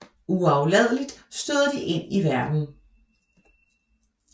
Uafladeligt støder de ind i verden